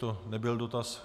To nebyl dotaz.